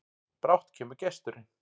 Brátt kemur gesturinn,